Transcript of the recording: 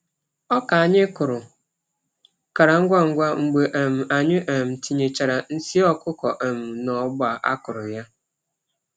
Oka anyị kụrụ kara ngwa ngwa mgbe um anyị um tinyechará nsi ọkụkọ um n'ọgba a kụrụ ya.